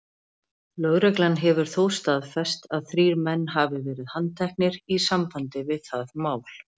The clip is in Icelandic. Lögreglan hefur þó staðfest að þrír menn hafi verið handteknir í sambandi við það mál.